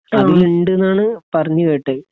അതിലിണ്ട് ആണ് പറഞ്ഞ കേട്ടത്